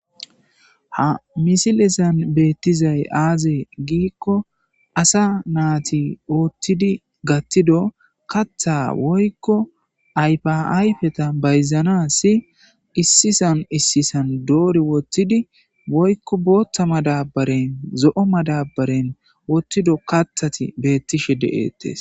ha misilesan beettizay aazee giikko asa naati oothidi gattido katha woykko aypiayfeta bayzana si issisan issisan doori wottidi woykko boottha madabaren zo7o madabaren wottido kathati beettishe de7ettes